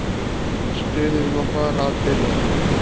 Stuðið má fara að byrja.